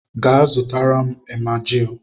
Gaa, zụtara m emajili